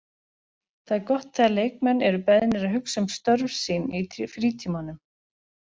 Það er gott þegar leikmenn eru beðnir að hugsa um störf sín í frítímanum.